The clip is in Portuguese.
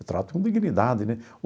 Eu trato com dignidade, né?